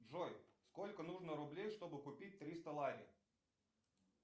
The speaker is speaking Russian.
джой сколько нужно рублей чтобы купить триста лари